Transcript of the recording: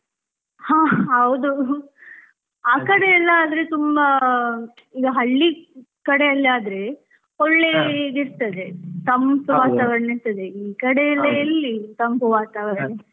ಹಾ ಹೌದು . ಆಕಡೆ ಎಲ್ಲಾ ಆದ್ರೆ ತುಂಬಾ ಈಗ ಹಳ್ಳಿ ಕಡೆಯಲ್ಲಿ ಆದ್ರೆ ಒಳ್ಳೆ ಇದ್ ಇರ್ತದೆ ತಂಪು ಇರ್ತದೆ ಈ ಕಡೆ ಎಲ್ಲಾ ಎಲ್ಲಿ ತಂಪು ವಾತಾವರಣ.